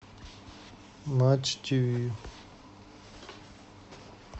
матч тв